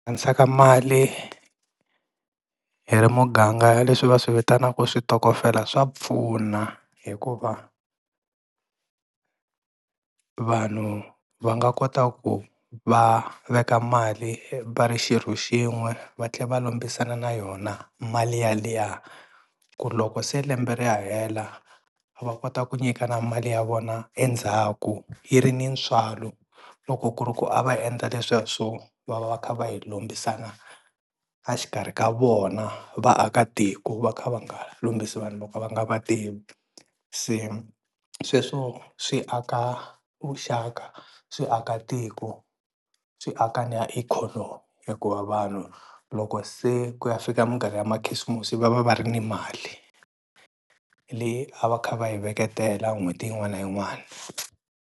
mali hi ri muganga leswi va swi vitanaka switokofela swa pfuna hikuva vanhu va nga kota ku va veka mali va ri xirho xin'we va tlhe va lombisana na yona mali yaliya ku loko se lembe ri ya hela va kota ku nyikana mali ya vona endzhaku yi ri ni ntswalo, loko ku ri ku a va endla leswiya swo va va kha va yi lombisana a xikarhi ka vona vaakatiko va kha va nga lombisi vanhu vo ka va nga va tivi se sweswo swi aka vuxaka swi aka tiko swi aka ni ya ikhonomi hikuva vanhu loko se ku ya fika minkarhi ya makhisimusi va va va ri ni mali leyi a va kha va yi veketela n'hweti yin'wana na yin'wani.